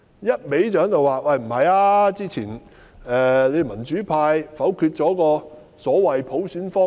一味表示之前民主派否決了所謂的普選方案。